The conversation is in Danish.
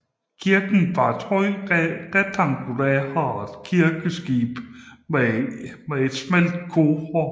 Kirken har et højt rektangulært kirkeskib med et smalt kor